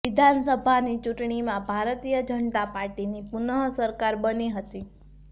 વિધાનસભાની ચૂંટણીમાં ભારતીય જનતા પાર્ટીની પુનઃ સરકાર બની હતી